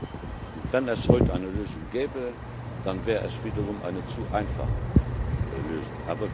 Und wenn es heute eine Lösung gäbe, dann wäre es wiederum eine zu einfache Lösung.